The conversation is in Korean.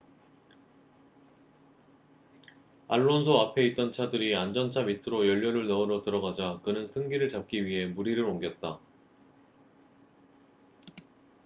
알론소 앞에 있던 차들이 안전차 밑으로 연료를 넣으러 들어가자 그는 승기를 잡기 위해 무리를 옮겼다